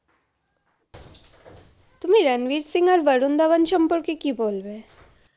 তুমি রানবির সিং আর বরুন দাভান সম্পর্কে কি বলবে?